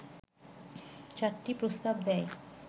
চারটি প্রস্তাব দেয়